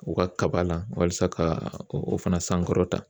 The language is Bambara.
U ka kaba la walasa ka o fana sankɔrɔta